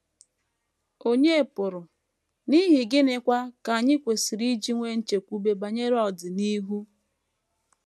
Ònye pụrụ, n’ihi gịnịkwa ka anyị kwesịrị iji nwee nchekwube banyere ọdịnihu?